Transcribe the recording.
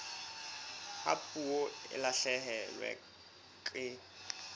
ha puo e lahlehelwa ke